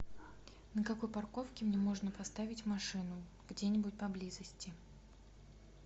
на какой парковке мне можно поставить машину где нибудь поблизости